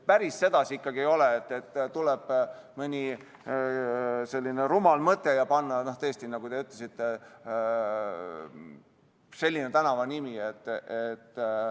Päris sedasi ikkagi ei ole, et tuleb mõni rumal mõte panna tõesti, nagu te ütlesite, selline nimi tänavale.